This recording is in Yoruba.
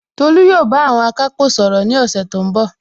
Tolu yóò bá àwọn akápò sọ̀rọ̀ ní ọ̀sẹ̀ tó ń bọ̀